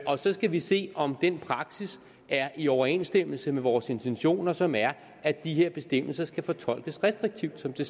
og så skal vi se om den praksis er i overensstemmelse med vores intentioner som er at de her bestemmelser skal fortolkes restriktivt som det